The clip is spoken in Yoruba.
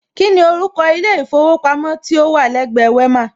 Kíni orúkọ ilé ìfowópamọ́ tí ó wà lẹ́gbẹ Wema?